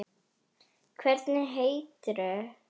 Hvernig eitrun?